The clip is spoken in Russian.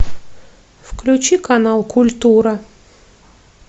включи канал культура